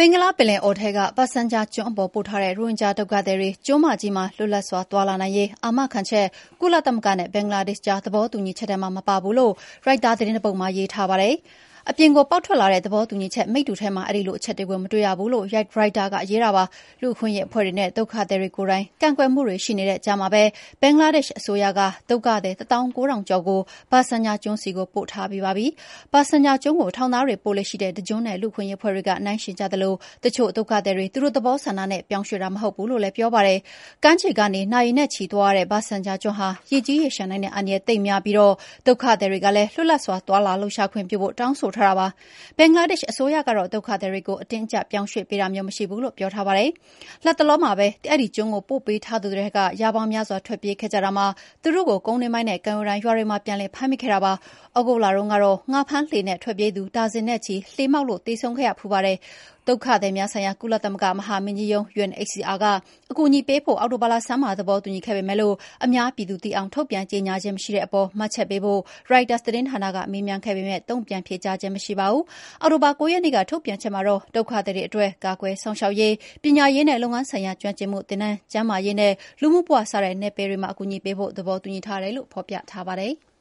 င်္ဂလားပင်လယ်အော်ထဲက Bhasan Char ကျွန်းပေါ်ပို့ထားတဲ့ ရိုဟင်ဂျာဒုက္ခသည်တွေ ကျွန်းမကြီးမှာ လွတ်လွတ်လပ်စွာသွားလာနိုင်ရေး အာမခံချက် ကုလသမဂ္ဂနဲ့ ဘင်္ဂလားဒေ့ရှ်ကြား သဘောတူညီချက်ထဲမှာ မပါဘူးလို့ ရိုက်တာသတင်းတပုဒ်မှာ ရေးထားပါတယ်။ အပြင်ကိုပေါက်ထွက်လာတဲ့ သဘောတူညီချက်မိတ္တူထဲမှာ အဲဒီလိုအချက်ကို မတွေ့ရဘူးလို့ ရိုက်တာက ရေးပါတယ်။ လူ့အခွင့်အရေးအဖွဲ့တွေနဲ့ ဒုက္ခသည်တွေကိုယ်တိုင် ကန့်ကွက်မှုတွေရှိနေတဲ့ကြားမှာပဲ ဘင်္ဂလားဒေ့ရှ်အစိုးရက ဒုက္ခသည် ၁၉,၀၀၀ ကျော်ကို ဘာဆန်ချာကျွန်းဆီပို့ထားပြီးပါပြီ။ ဘာဆန်ချာကျွန်းကို ထောင်သားတွေပို့လေ့ရှိတဲ့ တကျွန်းနဲ့ လူ့အခွင့်အရေးအဖွဲ့တွေက နှိုင်းယှဉ်ကြသလို တချို့ဒုက္ခသည်တွေ သူတို့သဘောဆန္ဒနဲ့ ပြောင်းရွှေ့တာ မဟုတ်ဘူးလို့လည်း ပြောပါတယ်။ ကမ်းခြေကနေ နာရီနဲ့ချီသွားရတဲ့ ဘာဆန်ချာကျွန်းဟာ ရေကြီးရေလျှံနိုင်တဲ့အန္တရာယ် သိပ်များပြီးဒုက္ခသည်တွေကလည်း လွတ်လပ်စွာ သွားလှုပ်ရှားလာခွင့်ပြုဖို့ တောင်းဆိုထားတာပါ။ ဘင်္ဂလားဒေ့ရှ်အစိုးရကတော့ ဒုက္ခသည်တွေကို အတင်းအကြပ်ပြောင်းရွှေ့ပေးတာမျိုး မရှိဘူးလို့ ပြောထားပါတယ်။ လတ်တလောလတွေမှာပဲ အဲဒီကျွန်းကို ပို့ပေးထားသူတွေထဲက ရာပေါင်းများစွာ ထွက်ပြေးခဲ့ကြတာမှာ သူတို့ကို ကုန်းတွင်းပိုင်းနဲ့ ကမ်းရိုးတန်းရွာတွေမှာ ပြန်ပြီး ဖမ်းမိခဲ့ပါတယ်။ သြဂုတ်လတုန်းကတော့ ငါးဖမ်းလှေနဲ့ထွက်ပြေးသူ ဒါဇင်နဲ့ချီ လှေမှောက်လို့ သေဆုံးခဲ့ဖူးပါတယ်။ ကုလသမဂ္ဂ ဒုက္ခသည်များဆိုင်ရာ မဟာမင်းကြီးရုံး UNHCR က အကူအညီပေးဖို့ အောက်တိုဘာလဆန်းပိုင်းမှာ သဘောတူညီခဲ့ပေမယ့် အများပြည်သူသိအောင် ထုတ်ပြန်ကြေငြာခြင်းမရှိတဲ့အပေါ် မှတ်ချက်ပေးဖို့ ရိုက်တာက မေးခဲ့ပေမယ့် တုံ့ပြန်ဖြေကြားခြင်းမရှိပါဘူူး။ အောက်တိုဘာ ၉ရက်နေ့ ထုတ်ပြန်ချက်မှာတော့ဒုက္ခသည်တွေအတွက် ကာကွယ်စောင့်ရှောက်ရေး၊ ပညာရေးနဲ့ လုပ်ငန်းဆိုင်ရာ ကျွမ်းကျင်မှုသင်တန်း၊ ကျန်းမာရေးနဲ့ လူနေမှုဘဝ စတဲ့နယ်ပယ်တွေမှာ အကူအညီပေးဖို့ သဘောတူညီထားတယ်လို့ ဖော်ပြထားပါတယ်။